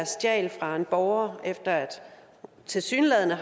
stjal fra en borger efter tilsyneladende at